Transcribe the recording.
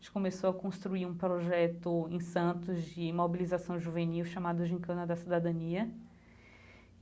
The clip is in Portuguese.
A gente começou a construir um projeto em Santos de imobilização juvenil chamado Gincana da Cidadania.